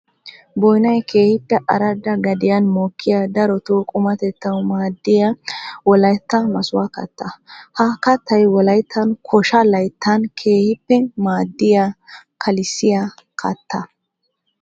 Boynnay keehippe aradda gadiyan mokkiya daroto qummatettawu maadiya wolaytta masukko katta. Ha kattay wolayttan koshsha layttan keehippe maadiya kalissiya katta.